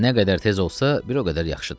Nə qədər tez olsa, bir o qədər yaxşıdır.